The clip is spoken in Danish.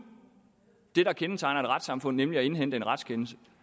det der kendetegner et retssamfund nemlig at indhente en retskendelse